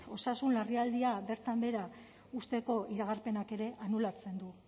osasun larrialdia bertan behera uzteko iragarpenak ere anulatzen du